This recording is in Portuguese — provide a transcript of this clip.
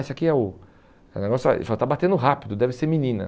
Esse aqui é o é um negócio Ele falou, está batendo rápido, deve ser menina.